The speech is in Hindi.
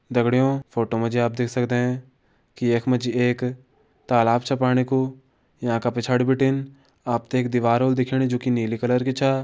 दगड्यौ फोटो जे आप देख सकदें की यख मा एक तालाब छ पाणी कु याँ का पिछाँड़ि बिटिन आपते एक दिवार हुवेळी दिखणी जु कि नीली कलर की छ।